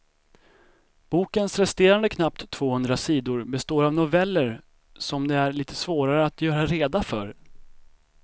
Bokens resterande knappt tvåhundra sidor består av noveller som det är litet svårare att göra reda för.